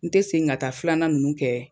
N te segin ka taa filanan nunnu kɛ